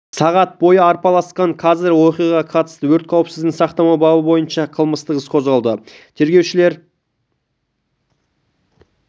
сағат бойы арпалысқан қазір оқиғаға қатысты өрт қауіпсіздігін сақтамау бабы бойынша қылмыстық іс қозғалды тергеушілер